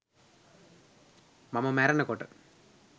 මම මැරෙනකොට